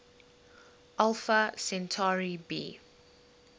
alpha centauri b